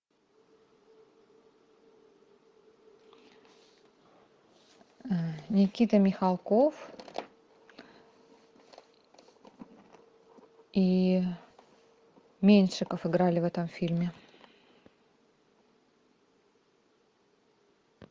никита михалков и меньшиков играли в этом фильме